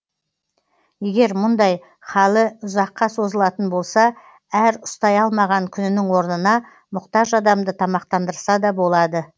егер мұндай халі ұзаққа созылатын болса әр ұстай алмаған күнінің орнына мұқтаж адамды тамақтандырса да болады